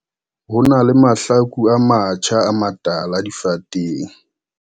Ho na le mahlaku a matjha a matala difateng.